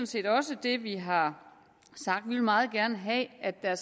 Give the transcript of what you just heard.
set også det vi har sagt vi vil meget gerne have at der